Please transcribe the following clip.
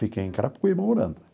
Fiquei em Carapicuíba, morando.